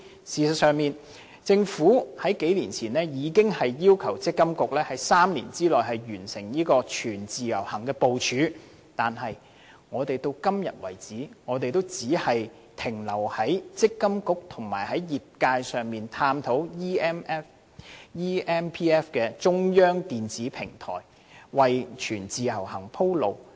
事實上，政府數年前已要求積金局在3年內完成全自由行的部署，但至今我們仍只停留在與積金局和業界探討建立 eMPF 的中央電子平台，為全自由行鋪路。